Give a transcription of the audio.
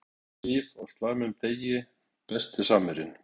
Sandra Sif á slæmum degi Besti samherjinn?